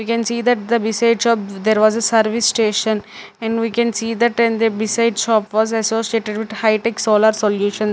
we can see that the beside shop there was a service station and we can see that and the besides shop was associated with high tech solar solution.